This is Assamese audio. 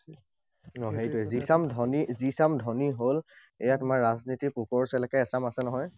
অ, সেইটোৱেই, যি চাম ধনী হল, এইয়া তোমাৰ ৰাজনীতিৰ পোকৰ চেলেকা এচাম আছে নহয়।